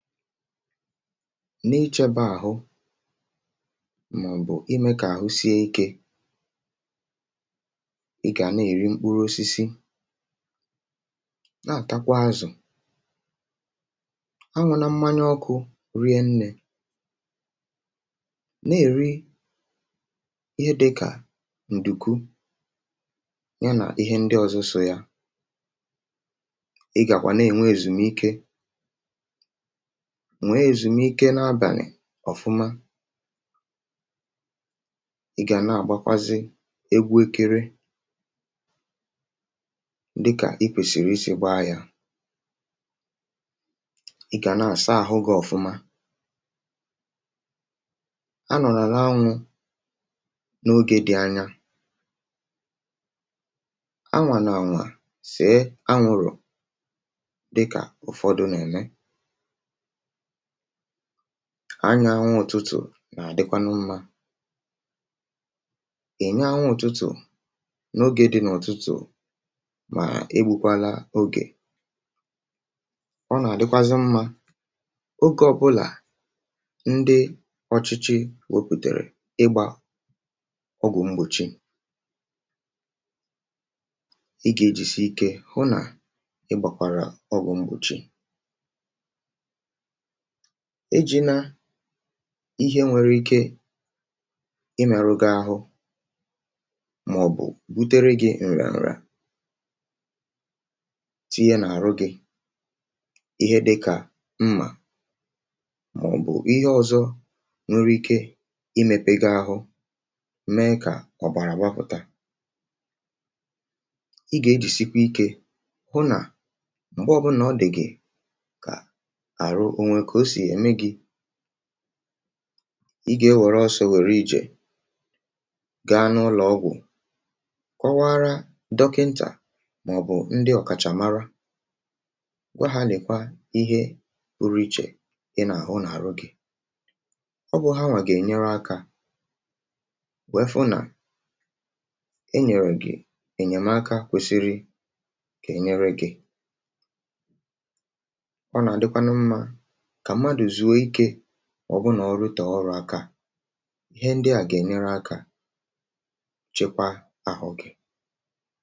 N’ichebe ahụ gị ma ime ka ahụ gị sie ike, i kwesị iri mkpụrụ osisi, ma rie azụ. Zere isi ísì ọkụ, ma zere ịṅụ mmanya ọkụ. Rie nri nke ọma, rie nri nwere ihe oriri zuru oke na nke dị iche iche. I kwesịkwa inwe ezumike, zuru ike nke ọma n’abalị. Na-eme mgbatị ahụ, ma ọ bụ ọrụ dị mfe nke na-enyere ka ahụ sie ike. Na-asacha ahụ gị mgbe niile, ma na-echekwa ahụ gị ọcha. Nọ n’anwụ mgbe ụfọdụ, ma ọ bụghị ogologo oge. Ụfọdụ ndị na-achọkwa ịnya anwụ, um anwụ ụtụtụ dị mma. Jikọọ onwe gị na anwụ ụtụtụ, ma ejila oge dị ogologo n’anwụ, n’ihi na ịdị ogologo oge n’anwụ adịghị mma. N’oge niile, soro iwu ndị ọchịchị gbasara ịgba ọgwụ mgbachi ọrịa. Hụ na i na-agba ọgwụ mgbachi nke na-eme ka ahụ sie ike. Zere iji ihe nwere ike imebi ahụ gị, ma ọ bụ kpatara mmerụ ahụ. Ejila ihe egwu ma ọ bụ mma tinye n’ahụ gị, ma mee ihe nwere ike ime ka ọbara pụta. Nọgidesie ike, ma lekọta onwe gị nke ọma. Mgbe ọ bụla i hụrụ ihe na-adịghị eme nke ọma, ma ọ bụ mgbe ahụ gị malitere ịdị gị ka ọ na-ada, gawa ngwa ngwa n’ụlọ ọgwụ. Gwa dọkịta, ma ọ bụ ndị ọkachamara, kpọmkwem ihe ị na-ahụ, ma ọ bụ ihe i na-enwe n’ahụ gị. Dọkịta ga-enyere aka ịchọpụta ihe kpatara ya, ma nye gị ọgwụgwọ kwesịrị ekwesị. Nke a ga-enyere gị aka ka i weghachite ike, ma mee ka ahụ gị dịrị mma.